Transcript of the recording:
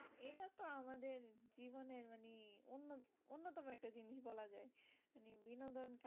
হুম বলা যায় বিনোদনের